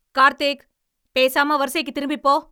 கார்த்திக்! பேசாம, வரிசைக்குத் திரும்பிப் போ.